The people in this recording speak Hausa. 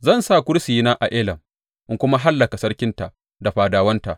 Zan sa kursiyina a Elam in kuma hallaka sarkinta da fadawanta,